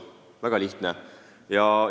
Väga lihtne!